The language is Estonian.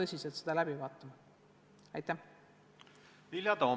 Austatud